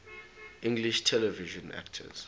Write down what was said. english television actors